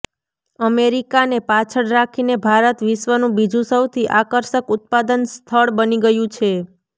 અમેરિકાને પાછળ રાખીને ભારત વિશ્વનું બીજું સૌથી આકર્ષક ઉત્પાદન સ્થળ બની ગયું છે